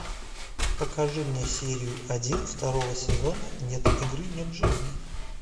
покажи мне серию один второго сезона нет игры нет жизни